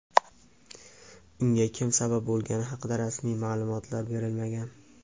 unga kim sabab bo‘lgani haqida rasmiy ma’lumotlar berilmagan.